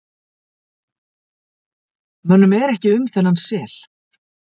mönnum er ekki um þennan sel